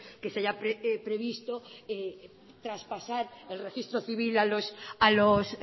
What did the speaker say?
que se haya previsto traspasar el registro civil a los